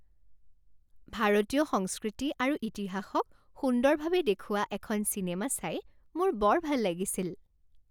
ভাৰতীয় সংস্কৃতি আৰু ইতিহাসক সুন্দৰভাৱে দেখুওৱা এখন চিনেমা চাই মোৰ বৰ ভাল লাগিছিল।